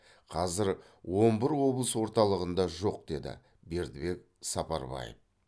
қазір он бір облыс орталығында жоқ деді бердібек сапарбаев